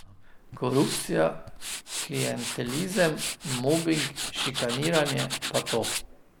Korupcija, klientelizem, mobing, šikaniranje, pa to.